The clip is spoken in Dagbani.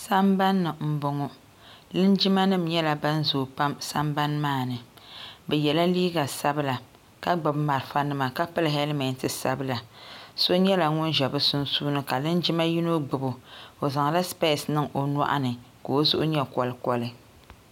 Sambani ni m-bɔŋɔ linjimanima nyɛla ban zooi pam sambani maa ni bɛ yela liiga sabila ka gbubi marafanima ka pili helimeti sabila so nyɛla ŋun ʒe bɛ sunsuuni ka linjima yino gbubi o o zaŋla sipesi niŋ o nyɔɣu ni ka o zuɣu nyɛ kolikoli.